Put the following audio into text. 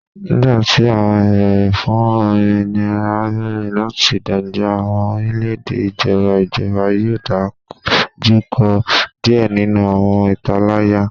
Nigbati awọn ibeere fun ominira bẹrẹ lati dagba awọn orilẹ-ede ijọba ijọba yoo dojukọ diẹ ninu awọn italaya